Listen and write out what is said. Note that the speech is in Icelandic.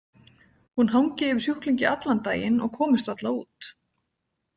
Hún hangi yfir sjúklingi allan daginn og komist varla út.